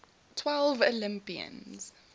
twelve olympians